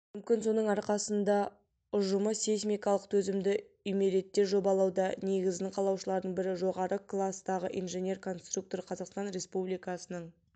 мүмкін соның арқасында ұжымы сейсмикалық төзімді үймереттер жобалауда негізін қалаушылардың бірі жоғары кластағы инженер-конструктор қазақстан республикасының